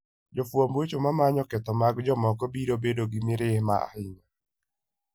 Jofwamb weche ma manyo ketho mag jomoko biro bedo gi mirima ahinya.